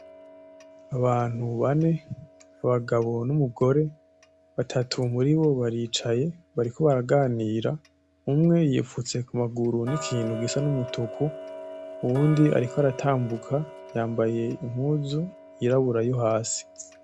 Abantu bane abagabo n'umugore batatu muribo baricaye bariko baraganira umwe yipfutse kum’amaguru nikintu gisa n’umutuku uw’undi ariko aratambuka yambaye impuzu yirabura yohasi.